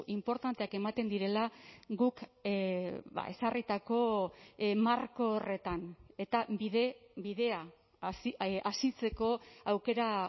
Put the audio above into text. inportanteak ematen direla guk ezarritako marko horretan eta bide bidea asitzeko aukera